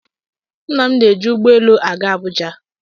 Nna m na-eji ụgbọ elu aga Abụja.